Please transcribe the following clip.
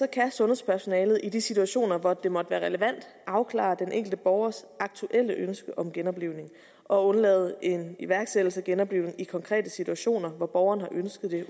kan sundhedspersonalet i de situationer hvor det måtte være relevant afklare den enkelte borgers aktuelle ønske om genoplivning og undlade en iværksættelse af genoplivning i konkrete situationer hvor borgeren har ønsket det